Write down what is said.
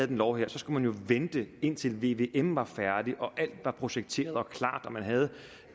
den lov her skulle man jo vente indtil vvm var færdig og alt var projekteret og klart man havde